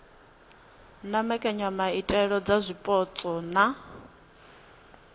na mbekanyamaitele dza zwipotso na